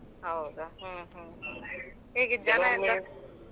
ಹೌದಾ ಹ್ಮ್ ಹ್ಮ್ ಹೇಗೆ .